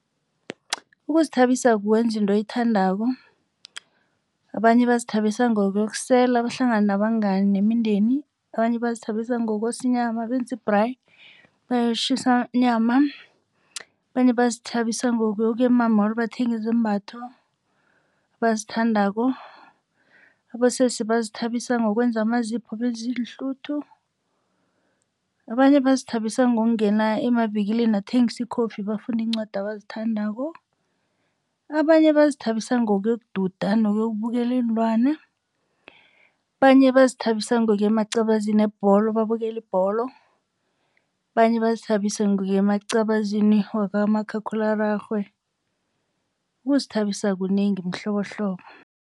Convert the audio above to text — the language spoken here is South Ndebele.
Ukuzithabisa kukwenza into oyithandako. Abanye bazithabisa ngokuyosela bahlangane nabangani nemindeni. Abanye bazithabisa ngokwenza ngokosa inyama benze i-braai kwashisa nyama. Abanye bazithabisa ngokuya ema-mall bathenge izembatho abazithandako, abosesi bazithabisa ngokwenza amazipho, benze iinhluthu. Abanye bazithabisa ngokungena emavikilini athengisa ikofi bafunde iincwadi abazithandako. Abanye bazithabisa ngokuyokududa nokubukela iinlwana. Abanye bazithabisa ngokuya emacabazini webholo babukele ibholo. Abanye bazithabisa ngokuya emacabazini wakamakhakhulararhwe ukuzithabisa kunengi mihlobohlobo.